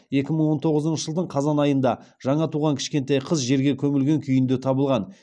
екі мың он тоғызыншы жылдың қазан айында жаңа туған кішкентай қыз жерге көмілген күйінде табылған